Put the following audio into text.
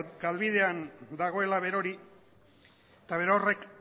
galbidean dagoela berori eta berorrek